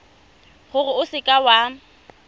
gore o seka w a